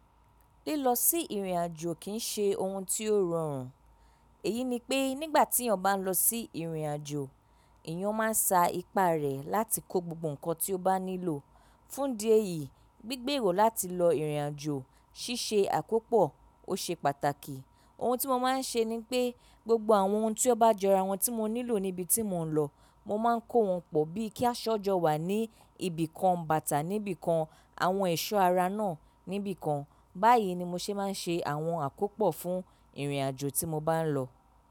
Lílọ sí ìrìnàjò kìn ṣe oun tí ó rọrùn. Èyí ni pé nígbà tí èèyàn bá ń lọ sí ìrìnàjò, èèyàn máa ń sa ipá rẹ̀ láti kó gbogbo nǹkan tí ó bá nílò. Fún idi ẹ́yìí, gbígbèrò láti lọ ìrìnàjò, ṣíṣe àkópọ̀ ó ṣe pàtàkì. Oun tí mo máa ń ṣe ni pé gbogbo àwọn oun tí ó bá jọra wọn tí mo nílò níbi tí mò ń lọ, mo máa ń kó wọn pọ̀ bíi kí a ṣọ́jọ́ wà ní ibìkan, bàtà níbí kan, àwọn ẹ̀ṣọ́ ara náà níbí kan. Báyìí ni mo ṣe máa ń ṣe àwọn àkópọ̀ fún ìrìnàjò tí mo bá ń lọ.